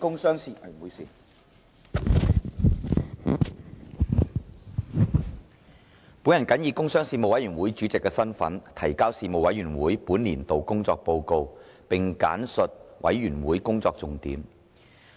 主席，本人謹以工商事務委員會主席身份，提交事務委員會本年度工作報告，並簡述事務委員會工作重點。